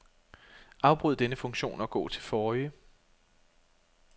Afbryd denne funktion og gå til forrige.